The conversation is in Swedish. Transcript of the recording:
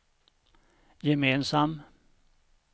gemensam